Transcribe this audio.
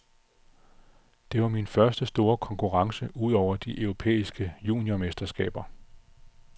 Det var min første store konkurrence udover de europæiske juniormesterskaber.